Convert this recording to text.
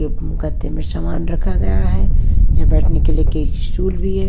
गत्ते में सामान रखा गया है यहाँ बैठने के लिए एक स्टूल भी है।